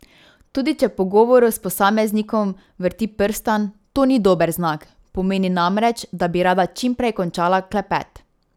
Tudi če v pogovoru s posameznikom vrti prstan, to ni dober znak, pomeni namreč, da bi rada čim prej končala klepet.